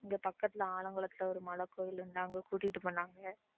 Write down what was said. இங்க பக்கத்துல ஆலங்குளத்துல ஒரு மலைக்கோவில் அங்க கூட்டிட்டு போனாங்க